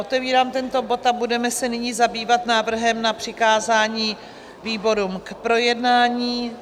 Otevírám tento bod a budeme se nyní zabývat návrhem na přikázání výborům k projednání.